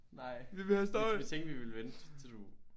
Nej vi tænkte vi ville vente til du